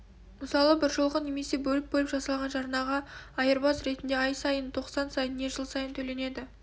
мысалы біржолғы немесе бөліп-бөліп жасалған жарнаға айырбас ретінде ай сайын тоқсан сайын не жыл сайын төленеді